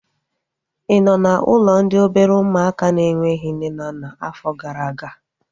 Ị nọ n'ụlọ ndị obere ụmụaka na-enweghị nne na nna afọ gara aga?